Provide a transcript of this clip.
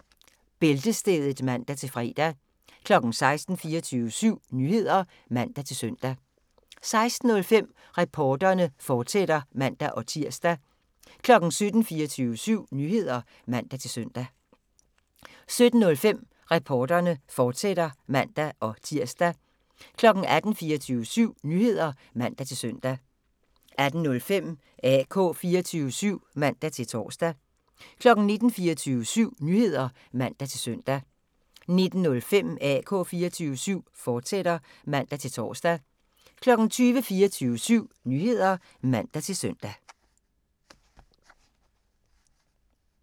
15:05: Bæltestedet (man-fre) 16:00: 24syv Nyheder (man-søn) 16:05: Reporterne, fortsat (man-tir) 17:00: 24syv Nyheder (man-søn) 17:05: Reporterne, fortsat (man-tir) 18:00: 24syv Nyheder (man-søn) 18:05: AK 24syv (man-tor) 19:00: 24syv Nyheder (man-søn) 19:05: AK 24syv, fortsat (man-tor) 20:00: 24syv Nyheder (man-søn)